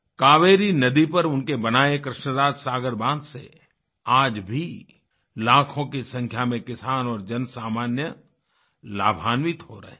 कावेरी नदी पर उनके बनाए कृष्णराज सागर बाँध से आज भी लाखों की संख्या में किसान और जनसामान्य लाभान्वित हो रहे हैं